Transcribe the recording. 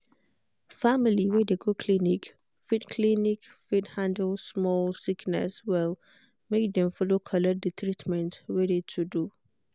family wey de go clinic fit clinic fit handle small sickness well make dem follow colllect de treatmentt wey de to do.